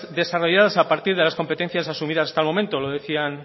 desarrolladas a partir de las competencias asumidas hasta el momento lo decían